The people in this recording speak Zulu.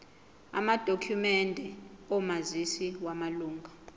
amadokhumende omazisi wamalunga